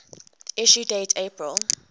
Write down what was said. issue date april